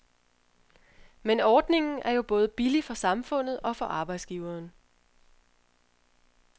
Men ordningen er jo både billig for samfundet og for arbejdsgiveren.